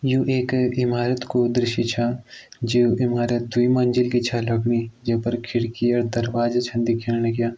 यू एक इमारत कू दृश्य छ जु इमारत द्वी मंजिल की छ लगणि जे पर खिड़की और दरवाजे छन दिखेण लग्यां।